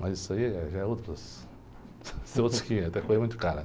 Mas isso aí, eh, já é outras, são outros quinhentos, é coisa muito cara.